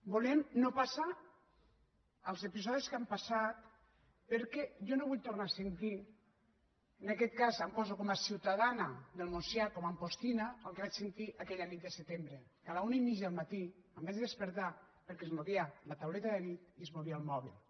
volem no passar els episodis que hem passat perquè jo no vull tornar a sentir en aquest cas em poso com a ciutadana del montsià com a ampostina el que vaig sentir aquella nit de setembre que a la una i mitja del matí em vaig despertar perquè es movia la tauleta de nit i es movia el moble